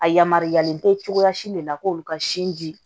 A yamaruyalen te cogoya si de la k'olu ka sin di